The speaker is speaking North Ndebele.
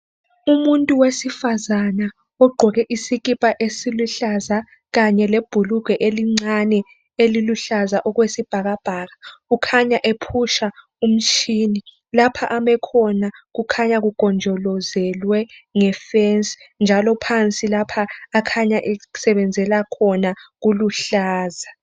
Umuntu wesifazana ogqoke isikipa esiluhlaza kanye lebhulugwe elincane eliluhlaza okwesibhakabhaka ukhanya ephusha umtshini lapha ame khona kukhanya kugonjolozele ngefence njalo phansi lapha akhanya esebenzela khona kuluhlaza.